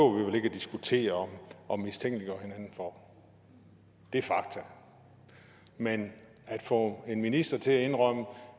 diskutere og mistænkeliggøre hinanden for det er fakta men at få en minister til at indrømme